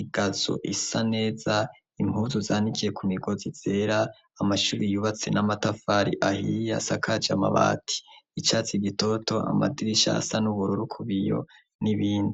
igazo isa neza impuzu zanikiye ku migozi zera amashubi yubatse n'amatafari ahiye asakaje amabati icatsi gitoto amadirisha asa n'ubururu kuba iyo nibindi.